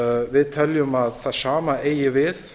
við teljum að það sama eigi við